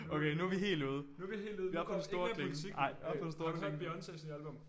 Okay nu vi helt ude vi oppe på den store klinge nej op på den store klinge